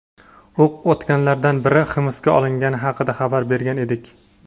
o‘q otganlardan biri hibsga olingani haqida xabar bergan edik.